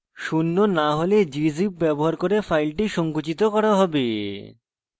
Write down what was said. শূন্য না হলে gzip ব্যবহার করে file সংকুচিত করা হবে